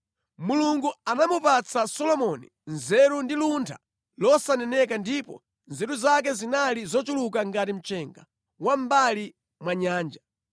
Mulungu anamupatsa Solomoni nzeru ndi luntha losaneneka ndipo nzeru zake zinali zochuluka ngati mchenga wa mʼmbali mwa nyanja.